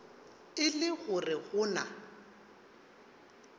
e le gore go na